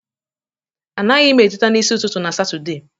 Anaghị m eteta n'isi ụtụtụ na Satọde